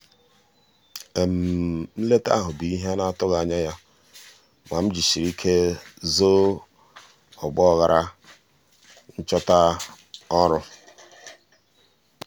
nleta ahụ bụ ihe a na-atụghị anya ya ma ejisiri m ike zoo ọgba aghara nchọta ọrụ.